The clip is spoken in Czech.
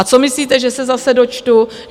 A co myslíte, že se zase dočtu?